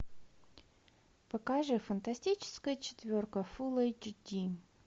покажи фантастическая четверка фулл эйч ди